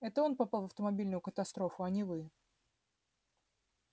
это он попал в автомобильную катастрофу а не вы